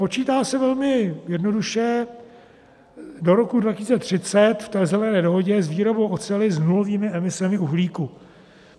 Počítá se velmi jednoduše do roku 2030 v té Zelené dohodě s výrobou oceli s nulovými emisemi uhlíku.